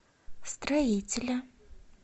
строителя